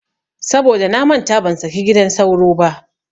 Saboda namanta ban saki gidan sauro ba.